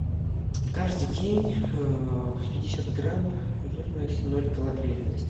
каждый день пятьдесят грамм жирность ноль калорийность